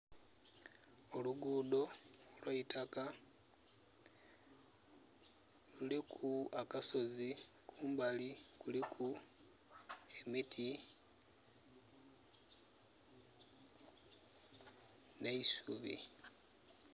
Oluguudh olweitaka luliku akasozi kumbali kuliku emiti n' eisubi.